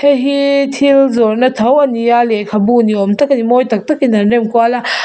hei hi thil zawrhna tho ani a lehkhabu niawm tak ani mawi tak tak in an remkual a --